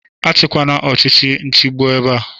Achịkwana ọchịchị nchigbu ebea!